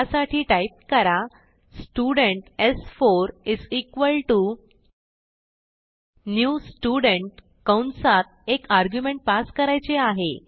त्यासाठी टाईप कर स्टुडेंट स्4 इस इक्वाल्टो न्यू स्टुडेंट कंसात एक आर्ग्युमेंट पास करायचे आहे